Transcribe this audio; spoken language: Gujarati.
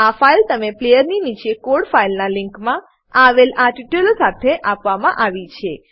આ ફાઈલ તમને પ્લેયરની નીચે કોડ ફાઈલનાં લીંકમાં આવેલ આ ટ્યુટોરીયલ સાથે આપવામાં આવી છે